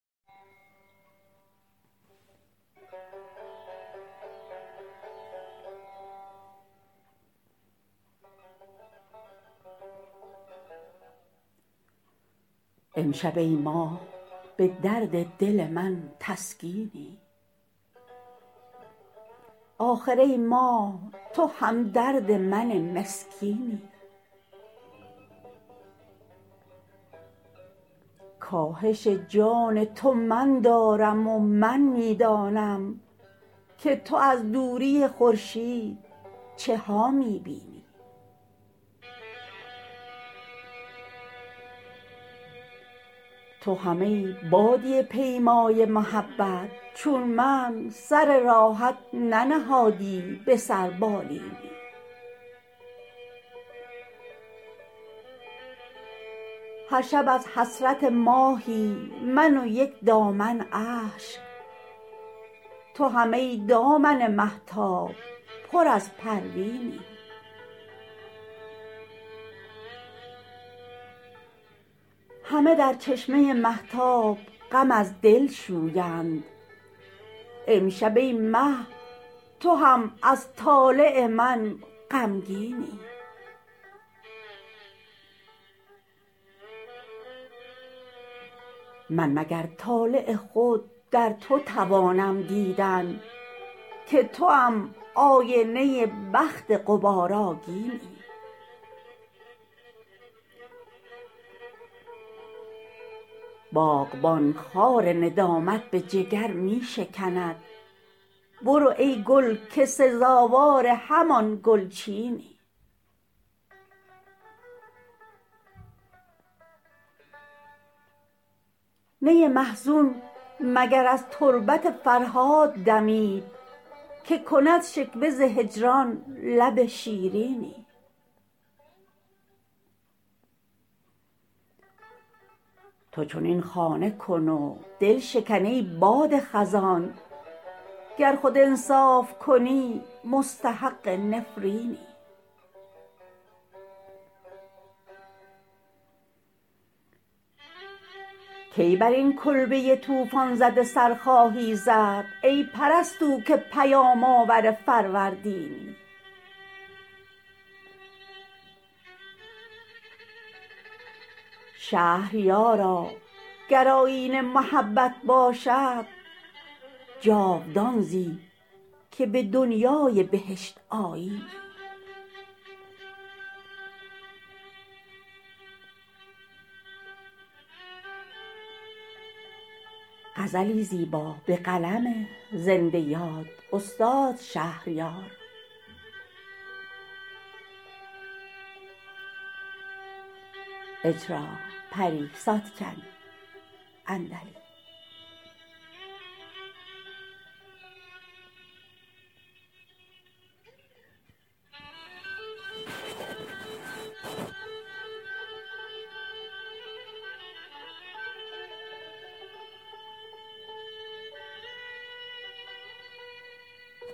امشب ای ماه به درد دل من تسکینی آخر ای ماه تو همدرد من مسکینی کاهش جان تو من دارم و من می دانم که تو از دوری خورشید چه ها می بینی تو هم ای بادیه پیمای محبت چون من سر راحت ننهادی به سر بالینی هر شب از حسرت ماهی من و یک دامن اشک تو هم ای دامن مهتاب پر از پروینی همه در چشمه مهتاب غم از دل شویند امشب ای مه تو هم از طالع من غمگینی من مگر طالع خود در تو توانم دیدن که توام آینه بخت غبارآگینی باغبان خار ندامت به جگر می شکند برو ای گل که سزاوار همان گلچینی نی محزون مگر از تربت فرهاد دمید که کند شکوه ز هجران لب شیرینی تو چنین خانه کن و دلشکن ای باد خزان گر خود انصاف کنی مستحق نفرینی کی بر این کلبه طوفان زده سر خواهی زد ای پرستو که پیام آور فروردینی شهریارا اگر آیین محبت باشد جاودان زی که به دنیای بهشت آیینی